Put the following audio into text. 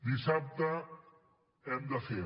dissabte hem de fer